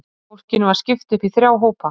Fólkinu var skipt upp í þrjá hópa.